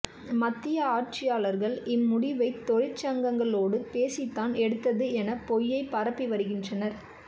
மத்திய ஆட்சியாளர்கள் இம் முடிவை தொழிற்சங்கங்களோடு பேசித்தான் எடுத்தது என பொய்யைப் பரப்பி வருகின்றனர்